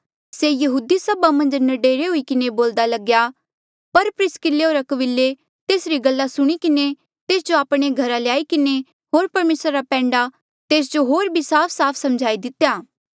से यहूदी सभा मन्झ न्डरे हुई किन्हें बोल्दा लग्या पर प्रिसकिल्ले होर अक्विले तेसरी गल्ला सुणी किन्हें तेस जो आपणे घरा ल्याई किन्हें होर परमेसरा रा पैंडा तेस जो होर भी साफसाफ समझाई दितेया